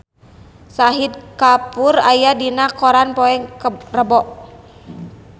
Shahid Kapoor aya dina koran poe Rebo